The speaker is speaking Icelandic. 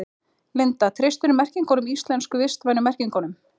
Linda: Treystirðu merkingunum íslensku, vistvænu merkingunum?